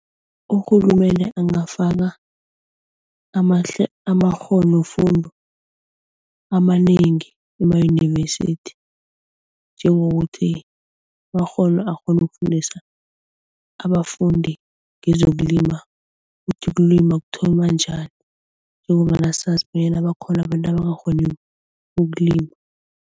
Urhulumende angafaka amakghonofundwa amanengi emayunivesithi njengokuthi akghone ukufundisa abafundi ngezokulima kuthi ukulima kuthonywa njani njengombana sazi bonyana bakhona abantu abangakghoni ukulima.